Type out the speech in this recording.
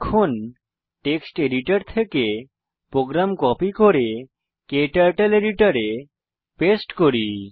এখন text editor থেকে program copy করে ক্টার্টল এডিটর এ পেস্ট করি